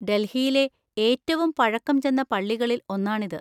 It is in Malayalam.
ഡൽഹിയിലെ ഏറ്റവും പഴക്കം ചെന്ന പള്ളികളിൽ ഒന്നാണിത്.